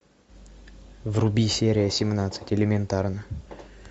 вруби серия семнадцать элементарно